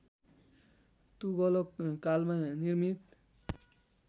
तुगलक कालमा निर्मित